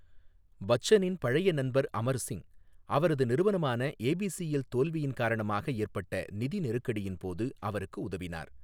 பச்சனின் பழைய நண்பர் அமர் சிங், அவரது நிறுவனமான ஏபிசிஎல் தோல்வியின் காரணமாக ஏற்பட்ட நிதி நெருக்கடியின் போது அவருக்கு உதவினார்.